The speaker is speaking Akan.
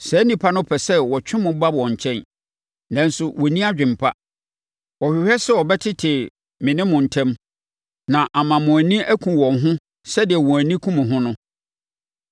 Saa nnipa no pɛ sɛ wɔtwe mo ba wɔn nkyɛn, nanso wɔnni adwene pa. Wɔhwehwɛ sɛ wɔbɛtete me ne mo ntam na ama mo ani aku wɔn ho sɛdeɛ wɔn ani ku mo ho no.